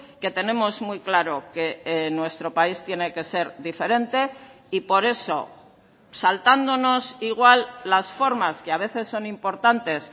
que tenemos muy claro que nuestro país tiene que ser diferente y por eso saltándonos igual las formas que a veces son importantes